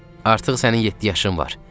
Artıq sənin yeddi yaşın var.